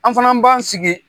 An fana b'an sigi